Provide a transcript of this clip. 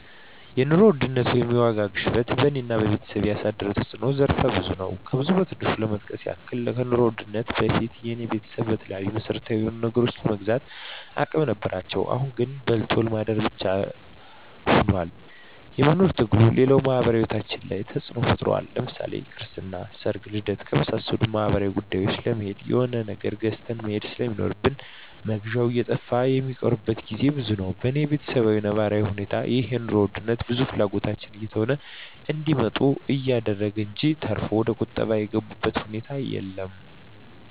የኑሮ ውድነት ወይም የዋጋ ግሽበት በኔና በቤተሰቤ ያሳደረው ተጽኖ ዘርፈ ብዙ ነው። ከብዙ በትንሹ ለመጥቀስ ያክል ከኑሮ ውድነቱ በፊት የኔ ቤተሰብ በተለይ መሰረታዊ የሆኑ ነገሮችን የመግዛት አቅም ነበራቸው አሁን ላይ ግን በልቶ ለማደር ብቻ ሁኗል የመኖር ትግሉ፣ ሌላው ማህበራዊ ሂወታችን ላይ ተጽኖ ፈጥሯል ለምሳሌ ክርስትና፣ ሰርግና ልደት ከመሳሰሉት ማህበራዊ ጉዳዮች ለመሄድ የሆነ ነገር ገዝተህ መሄድ ስለሚኖር መግዣው እየጠፋ ሚቀሩበት ግዜ ብዙ ነው። በኔ በተሰብ ነባራዊ እውነታ ይህ የኑሮ ውድነት ብዙ ፍላጎቶችን እየተው እንዲመጡ አደረገ እንጅ ተርፎ ወደቁጠባ የገቡበት ሁኔታ የለም።